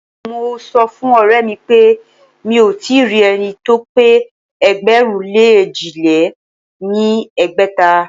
Mo sọ fún ọ̀rẹ́mi pé mí ò tíì rí ẹni tí ó pé ẹgbẹ̀rún lé èjì lé ní ẹgbẹ́ta.